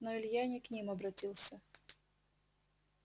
но илья не к ним обратился